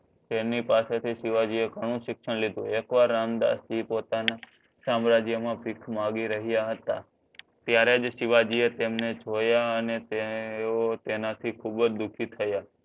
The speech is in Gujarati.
તેમની પાસે થી સીવાજી એ ઘણું સિક્સ્ન લિધુ ઍક વાર રામદાસજી પોતાના સામ્રાજ્ય માં ભીખ માગી રહ્યા હતા ત્યારે જ સિવાજી એ તેમણે જોયા અને તેઓ તેનાથી ખુબજ દુખી થ્યા